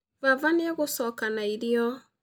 Baba nĩ egũcoka na irio